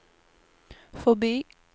förbi